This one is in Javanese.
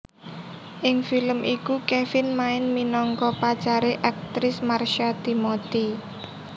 Ing film iku Kevin main minangka pacare aktris Marsha Timothy